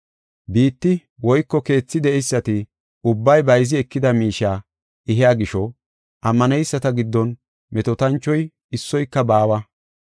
Biitti woyko keethi de7eysati ubbay bayzi ekida miishiya ehiya gisho, ammaneyisata giddon metootanchoy issoyka baawa.